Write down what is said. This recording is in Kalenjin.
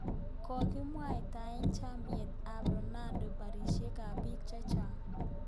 Kikimwaitae chamait ab Renamo barisyet ab biik chechaang